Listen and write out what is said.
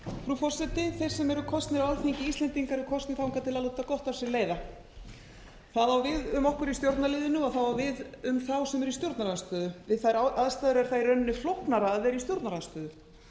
frú forseti þeir sem eru kosnir á alþingi íslendinga eru kosnir þangað til að láta gott af sér leiða það á við um okkur í stjórnarliðinu og það á við um þá sem eru í stjórnarandstöðu við þær aðstæður er það í rauninni flóknara að vera í stjórnarandstöðu